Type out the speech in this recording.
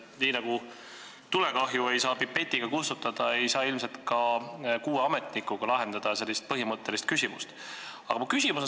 Nii nagu tulekahju ei saa pipetiga kustutada, ei saa ilmselt ka kuue ametnikuga sellist põhimõttelist küsimust lahendada.